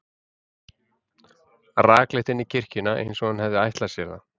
Rakleitt inn í kirkjuna, eins og hann hefði ætlað sér það.